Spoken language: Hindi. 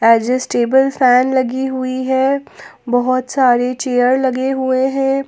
एडजस्टेबल फैन लगी हुई है बहोत सारे चेयर लगे हुए हैं।